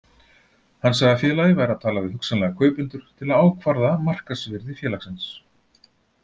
Hann sagði að félagið væri að tala við hugsanlega kaupendur til að ákvarða markaðsvirði félagsins.